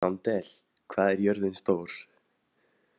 Sandel, hvað er jörðin stór?